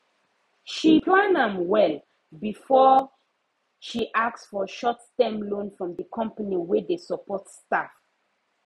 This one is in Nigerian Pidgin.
she plan am well before she ask for shortterm loan from the company wey dey support staff